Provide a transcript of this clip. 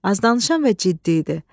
Az danışan və ciddi idi.